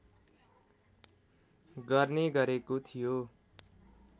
गर्ने गरेको थियो